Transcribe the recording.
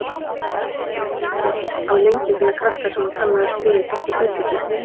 Hann var ekki lengi að finna krakka sem hann kannaðist við úr Gettu betur-keppninni.